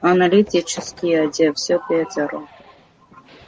аналитический отдел все пятеро